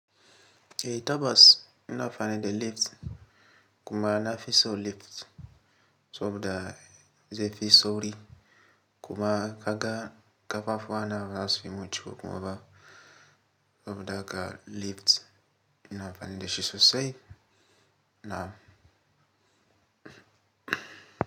Tabbas ina amfani da lift kuma na fi so lift soboda da ze fi sauri kuma kaga kafafuwa na ba za su yi min ciwo kuma ba saboda haka lift ina amfani da shi sosai. Ina.